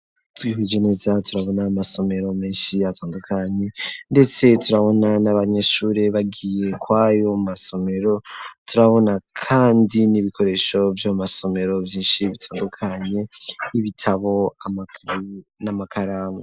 Twihweje neza turabona amasomero menshi atandukanye ndetse turabona n'abanyeshure bagiyeko ayo masomero turabona kandi n'ibikoresho vy'omasomero vyinshi bitandukanye y'ibitabo n'amakaramu.